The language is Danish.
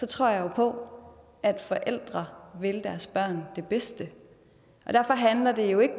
tror jeg jo på at forældre vil deres børn det bedste derfor handler det jo ikke